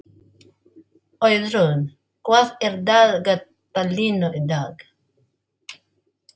Auðrún, hvað er í dagatalinu í dag?